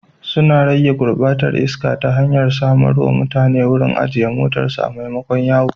Suna rage gurbatar iska ta hanyar samar wa mutane wurin ajiye motarsu maimakon yawo.